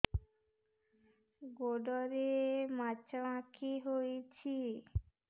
ଗୋଡ଼ରେ ମାଛଆଖି ହୋଇଛି